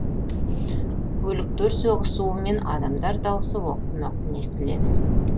көліктер соғысуы мен адамдар дауысы оқтын оқтын естіледі